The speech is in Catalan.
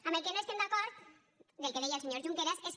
amb el que no estem d’acord del que deia el senyor junqueras és que